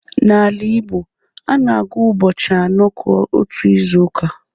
N’ala Igbo, a na-agụ ụbọchị anọ ka otu izu uka.